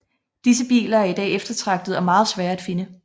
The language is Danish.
Disse biler er i dag eftertragtede og meget svære at finde